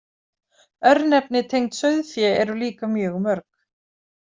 Örnefni tengd sauðfé eru líka mjög mörg.